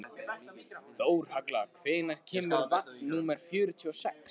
Þórhalla, hvenær kemur vagn númer fjörutíu og sex?